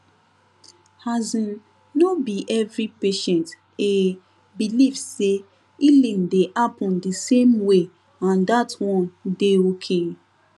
asin no be every patient eh believe say healing dey happen di same way and that one dey okay